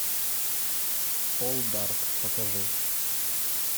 пол дарк покажи